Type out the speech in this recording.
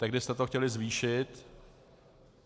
Tehdy jste to chtěli zvýšit.